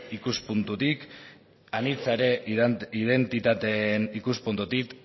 ikuspuntutik anitza ere identitateen ikuspuntutik